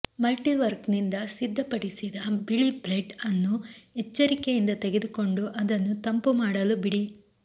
ಮಲ್ಟಿವರ್ಕ್ನಿಂದ ಸಿದ್ಧಪಡಿಸಿದ ಬಿಳಿ ಬ್ರೆಡ್ ಅನ್ನು ಎಚ್ಚರಿಕೆಯಿಂದ ತೆಗೆದುಕೊಂಡು ಅದನ್ನು ತಂಪು ಮಾಡಲು ಬಿಡಿ